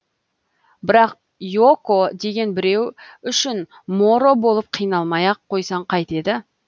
бірақ юоко деген біреу үшін моро болып қиналмай ақ қойсаң қайтеді